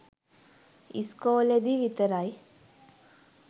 ඉස්කෝලෙදි විතරයි